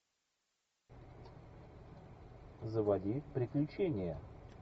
заводи приключения